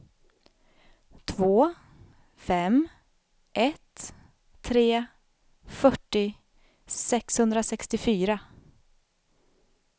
två fem ett tre fyrtio sexhundrasextiofyra